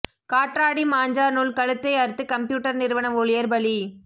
காற்றாடி மாஞ்சா நூல் கழுத்தை அறுத்து கம்ப்யூட்டர் நிறுவன ஊழியர் பலி